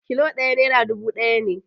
Kilo ɗaya nera dubu ɗaya ne